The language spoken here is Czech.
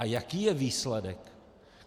A jaký je výsledek?